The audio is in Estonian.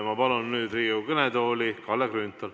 Ma palun nüüd Riigikogu kõnetooli Kalle Grünthali.